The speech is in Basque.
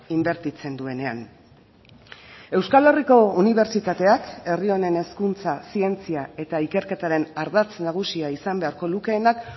inbertitzen duenean euskal herriko unibertsitateak herri honen hezkuntza zientzia eta ikerketaren ardatz nagusia izan beharko lukeenak